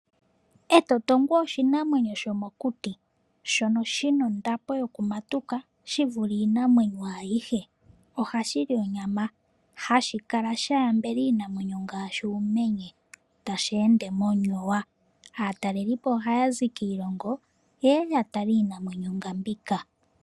Etotongwe oshinamwenyo shomokuti shono shi na ondapo yokumatuka shi vule iinamwenyo ayihe. Ohashi li onyama. Hashi kala sha ambela iinamwenyo ngaashi uumenye tashi ende monyowa. Aatalelipo ohaya zi kiilongo ye ye ya tale iinamwenyo nga mbika.